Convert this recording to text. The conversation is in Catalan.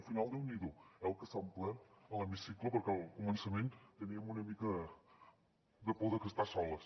al final déu n’hi do eh el que s’ha omplert l’hemicicle perquè al començament teníem una mica de por d’estar soles